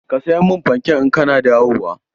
Ka saya mun fankek in kana dawowa!